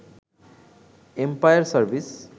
empire service